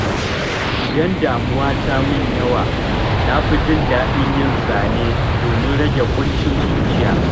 Idan damuwa ta min yawa, na fi jin daɗin yin zane domin rage ƙuncin zuciya.